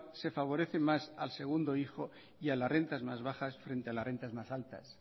se favorece más al segundo hijo y a la rentas más bajas frente a las rentas más altas